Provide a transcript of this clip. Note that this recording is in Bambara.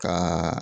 Ka